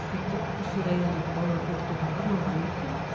мектеп осы райондағы балаларды оқытуға арналған мектеп